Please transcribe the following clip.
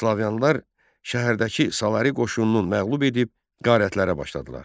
Slavyanlar şəhərdəki Salari qoşununu məğlub edib qarətlərə başladılar.